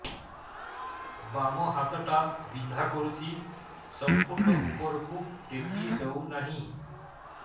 ବାମ ହାତ ଟା ବିନ୍ଧା କରୁଛି ସମ୍ପୂର୍ଣ ଉପରକୁ ଟେକି ହୋଉନାହିଁ